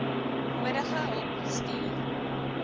nodige hulp stuur